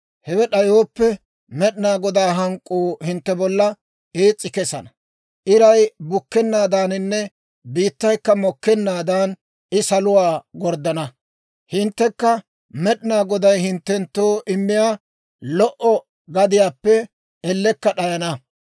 Hewe d'ayooppe, Med'inaa Godaa hank'k'uu hintte bolla ees's'i kesana; iray bukkennaadaaninne biittaykka mokkennaadan I saluwaa gorddana; hinttekka Med'inaa Goday hinttenttoo immiyaa lo"o gadiyaappe ellekka d'ayana.